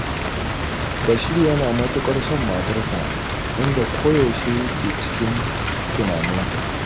Bashir yana matuƙar son matarsa, inda koyaushe yake cikin tunaninta.